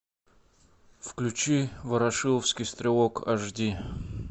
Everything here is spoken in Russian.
включи ворошиловский стрелок аш ди